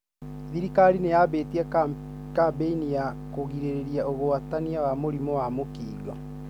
Dhirikari nĩyambĩtie kambeni ya kũgirĩrĩria ũgwatania wa mũrimũ wa Mukingo.